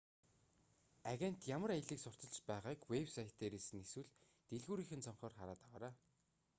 агент ямар аяллыг сурталчилж байгааг вэб сайт дээрээс нь эсвэл дэлгүүрийнх нь цонхоор хараад аваарай